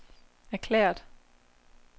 erklæret